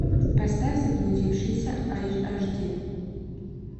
поставь заблудившиеся аш ди